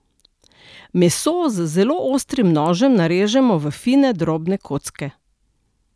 Meso z zelo ostrim nožem narežemo v fine drobne kocke.